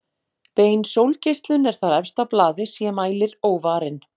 Bein sólgeislun er þar efst á blaði sé mælir óvarinn.